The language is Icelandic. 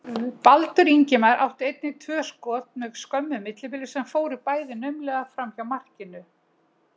Baldur Ingimar átti einnig tvö skot með skömmu millibili sem fóru bæði naumlega framhjá markinu.